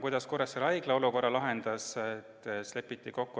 Kuidas Kuressaare Haigla olukorra lahendas?